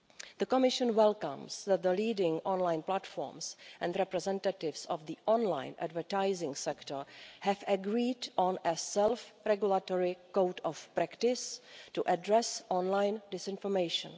The Commission welcomes that the leading online platforms and representatives of the online advertising sector have agreed on a self-regulatory code of practice to address online disinformation.